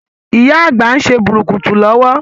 Ìyá Àgbà ń ṣe bùrùkùtù lọwọ́.